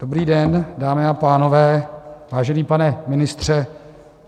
Dobrý den, dámy a pánové, vážený pane ministře.